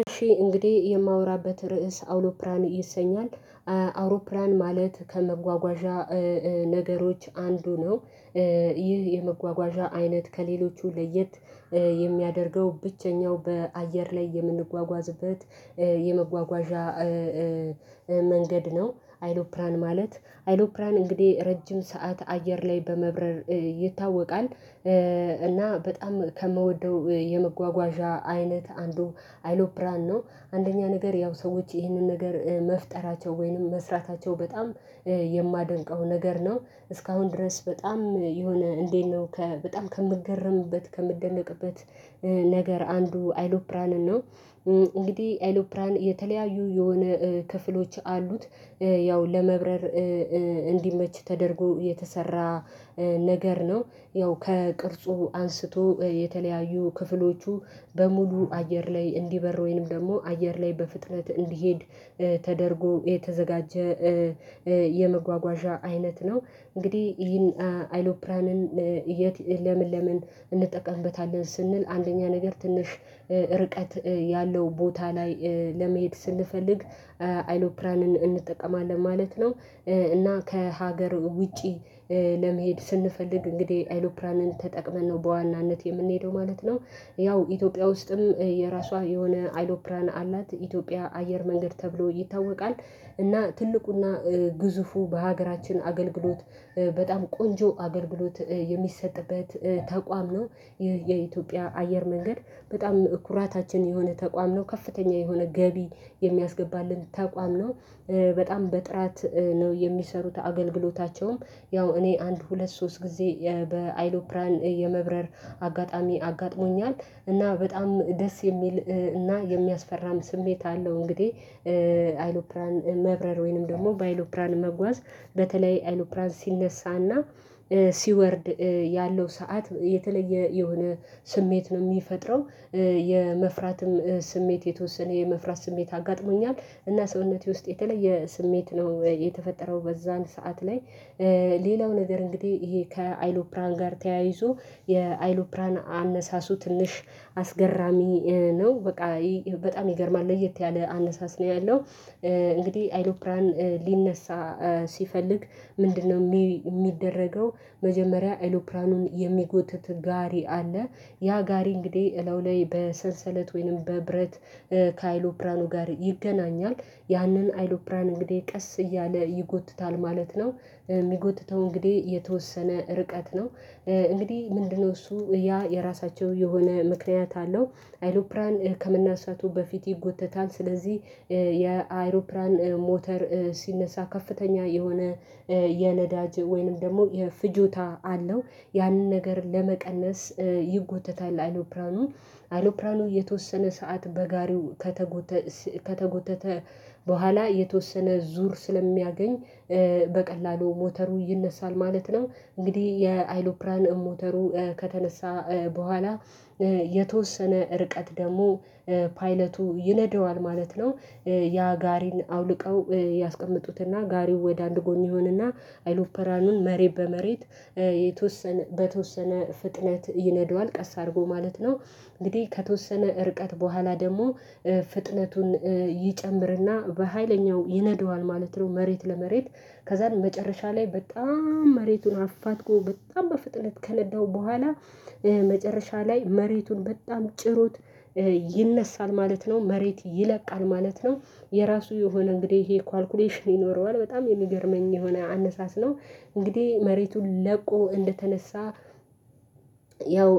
እሺ እንግዲህ የማወራበት ርዕስ አውሮፕላን ይሰኛል አውሮፕላን ማለት ከመጓጓዣ ነገሮች አንዱ ነው። ይህ የመጓጓዣ አይነት ከሌሎቹ ለየት የሚያደርገው ብቸኛው በአየር ላይ የምንጓጓዝበት የመጓጓዣ መንገድ ነው። አይሎፕላን ማለት አይሎፕላን እንግዲህ ረጅም ሰዓት አየር ላይ በመብረር ይታወቃል። እና በጣም ከምወደው የመጓጓዣ አይነት አንዱ አይሎፕራን ነው አንደኛ ነገር ያው ሰዎች ይሄንን ነገር መፍጠራቸው ወይንም መስራታቸው በጣም የማደንቀው ነገር ነው። እስካሁን ድረስ በጣም የሆነ እንዴት ነው በጣም ከምገረምበት ከምደነቅበት ነገር አንዱ አይሎፕራንን ነው። እንግዲህ አይሎፕራን የተለያዩ የሆነ ክፍሎች አሉት ያው ለመብረር እንዲመች ተደርጎ የተሰራ ነገር ነው። ያው ከቅርጹ አንስቶ የተለያዩ ክፍሎቹ በሙሉ አየር ላይ እንዲበር ወይንም ደግሞ አየር ላይ በፍጥነት እንዲሄድ ተደርጎ የተዘጋጀ የመጓጓዣ አይነት ነው። እንግዲህ ይህን አይሎፕራንን የት ለምን ለምን እንጠቀምበታለን ስንል አንደኛ ነገር ትንሽ ርቀት ያለው ቦታ ላይ ለመሄድ ስንፈልግ አይሎፕራንን እንጠቀማለን ማለት ነው። እና ከሀገር ውጪ ለመሄድ ስንፈልግ እንግዲህ አይሎፕራንን ተጠቅመን ነው በዋናነት የምንሄደው ማለት ነው። ያው ኢትዮጵያ ውስጥም የራሷ የሆነ አይሎፕላን አላት ኢትዮጵያ አየር መንገድ ተብሎ ይታወቃል። እና ትልቁና ግዙፉ በሀገራችን አገልግሎት በጣም ቆንጆ አገልግሎት የሚሰጥበት ተቋም ነው ይህ የኢትዮጵያ አየር መንገድ በጣም ኩራታችን የሆነ ተቋም ነው ከፍተኛ የሆነ ገቢ የሚያስገባልን ተቋም ነው። በጣም በጥራት ነው የሚሰሩት አገልግሎታቸውም ያው እኔ አንድ ሁለት ሶስት ጊዜ በአይሎፕራን የመብረር አጋጣሚ አጋጥሞኛል እና በጣም ደስ የሚል እና የሚያስፈራም ስሜት አለው እንግዲህ። አይሎፕራን መብረር ወይንም ደግሞ በአይሎፕራን መጓዝ በተለይ አይሎፕራን ሲነሳና ሲወርድ ያለው ሰዓት የተለየ የሆነ ስሜት ነው የሚፈጥረው። የመፍራትም ስሜት የተወሰነ የመፍራት ስሜት አጋጥሞኛል እና ሰውነቴ ውስጥ የተለየ ስሜት ነው የተፈጠረው በዛን ሰዓት ላይ። ሌላው ነገር እንግዲህ ይሄ ከአይሎፕራን ጋር ተያይዞ የአይሎፕራን አነሳሱ ትንሽ አስገራሚ ነው በቃ በጣም ይገርማል ለየት ያለ አነሳስ ነው ያለው። እንግዲህ አይሮፕላን ሊነሳ ሲፈልግ ምንድነው የሚደረገው? መጀመሪያ ኤይሎፕራኑን የሚጎትት ጋሪ አለ ያ ጋሪ እንግዲህ እለዩ ላይ በሰንሰለት ወይንም በብረት ከአይሎፕራኑ ጋር ይገናኛል ያንን አይሎፕራን እንግዲህ ቀስ እያለ ይጎትታል ማለት ነው። የሚጎትተው እንግዲህ የተወሰነ ርቀት ነው። እንግዲህ ምንድነው? እሱ ያ የራሳቸው የሆነ ምክንያት አለው አይሎፕላን ከመናሳቱ በፊት ይጎተታል ስለዚህ የአይሮፕላን ሞተር ሲነሳ ከፍተኛ የሆነ የነዳጅ ወይንም ደግሞ የፍጆታ አለው ያንን ነገር ለመቀነስ ይጎተታል አይሎፕራኑ። አይሎፕራኑ የተወሰነ ሰዓት በጋሪው ከተጎተተ በኋላ የተወሰነ ዙር ስለሚያገኝ በቀላሉ ሞተሩ ይነሳል ማለት ነው። እንግዲህ የአይሎፕራን ሞተሩ ከተነሳ በኋላ የተወሰነ ርቀት ደግሞ ፓይለቱ ይነደዋል ማለት ነው። ያ ጋሪን አውልቀው ያስቀመጡትና ጋሪው ወደ አንድ ጎን ይሆንና አይሎፕራኑን መሬት በመሬት የተወሰነ በተወሰነ ፍጥነት ይነዳዋል ቀስ አድርጎ ማለት ነው። እንግዲህ ከተወሰነ ርቀት በኋላ ደግሞ ፍጥነቱን ይጨምርና በሃይለኛው ይነደዋል ማለት ነው። መሬት ለመሬት ከዛም መጨረሻ ላይ በጣም መሬቱን አፋትጎ በጣም በፍጥነት ከነዳው በኋላ መጨረሻ ላይ መሬቱን በጣም ጭሩት ይነሳል ማለት ነው መሬት ይለቃል ማለት ነው። የራሱ የሆነ እንግዲህ ይሄ ካልኩሌሽን ይኖረዋል በጣም የሚገርመኝ የሆነ አነሳስ ነው። እንግዲህ መሬቱን ለቆ እንደተነሳ ያው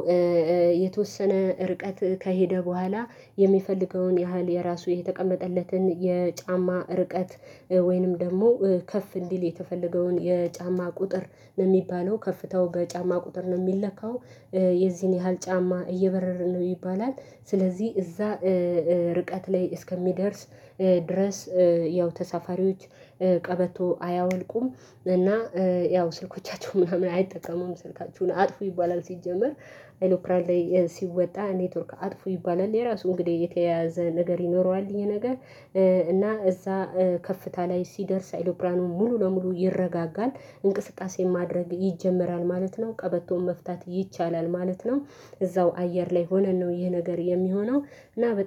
የተወሰነ ርቀት ከሄደ በኋላ የሚፈልገውን ያህል የራሱ የተቀመጠለትን የጫማ ርቀት ወይንም ደግሞ ከፍ እንዲል የተፈለገውን የጫማ ቁጥር ነው የሚባለው ከፍታው በጫማ ቁጥር ነው የሚለካው የዚህን ያህል ጫማ እየበረረ ነው ይባላል። ስለዚህ እዛ ርቀት ላይ እስከሚደርስ ድረስ ያው ተሳፋሪዎች ቀበቶ አያወልቁም። እና ያው ስልኮቻቸው ምናምን አይጠቀሙም ስልካችሁን አጥፉ ይባላል ሲጀመር አይሎፕራን ላይ ሲወጣ ኔትወርክ አጥፉ ይባላል። የራሱ እንግዲህ የተያያዘ ነገር ይኖረዋል ይሄ ነገር እና እዛ ከፍታ ላይ ሲደርስ አይሎፕራኑ ብርሃኑን ሙሉ ለሙሉ ይረጋጋል እንቅስቃሴን ማድረግ ይጀመራል ማለት ነው ቀበቶን መፍታት ይቻላል ማለት ነው። እዛው አየር ላይ ሆነን ነው ይህ ነገር የሚሆነው እና በጣም